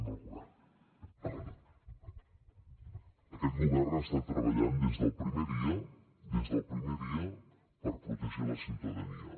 aquest govern ha estat treballant des del primer dia des del primer dia per protegir la ciutadania